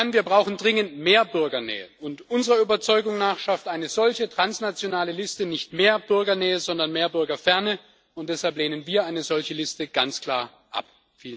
Wir brauchen dringend mehr Bürgernähe, und unserer Überzeugung nach schafft eine solche transnationale Liste nicht mehr Bürgernähe, sondern mehr Bürgerferne, und deshalb lehnen wir eine solche Liste ganz klar ab.